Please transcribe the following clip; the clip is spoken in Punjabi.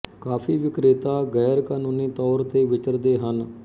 ਕਾਫੀ ਵਿਕ੍ਰੇਤਾ ਗੈਰ ਕਾਨੂਨੀ ਤੌਰ ਤੇ ਵਿਚਰਦੇ ਹਨ